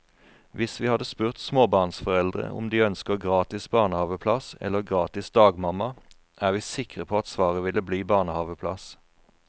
Hvis vi hadde spurt småbarnsforeldre om de ønsker gratis barnehaveplass eller gratis dagmamma, er vi sikre på at svaret ville bli barnehaveplass.